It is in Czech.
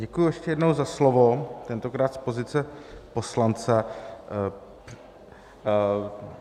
Děkuji ještě jednou za slovo, tentokrát z pozice poslance.